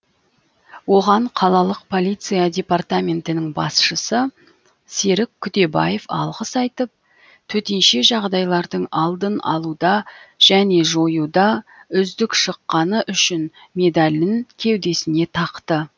оған қалалық полиция департаментінің басшысы серік күдебаев алғыс айтып төтенше жағдайлардың алдын алуда және жоюда үздік шыққаны үшін медалін кеудесіне тақты